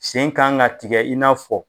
Sen kan ka tigɛ i n'a fɔ